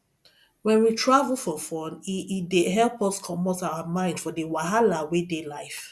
when we travel for fun e e dey help us comot our mind for di wahala wey dey life